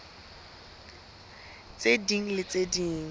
tse ding le tse ding